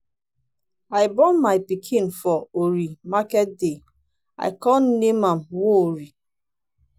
i born my pikin for orie market day i come name am nworie.